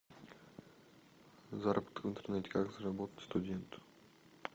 заработок в интернете как заработать студенту